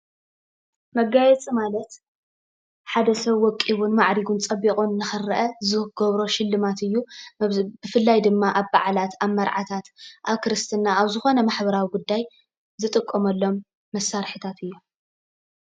መጋየፂ ማለት ሓደ ሰብ ወቂቡን ማዕሪጉን ፅቢቁ ንክረኣ ዝረኣየሉ ዝገብሮ ሽልማት ማለት እዩ። ብፍላይ ድማ ኣብ በዓላት ፣ኣብ መርዓ፣ ኣብ ክርስትና ኣብ ዝኮነ ማሕበራዊ ጉዳይ ዝጥቀመሎም መሳሪሒታት እዮም።